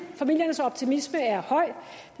familiernes optimisme er høj